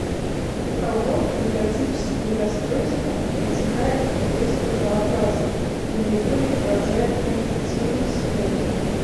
у кого невротические расстройства протекают приступообразно и наиболее поражают аффективную сферу